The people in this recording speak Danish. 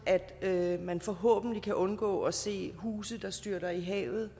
at man forhåbentlig kan undgå at se huse der styrter i havet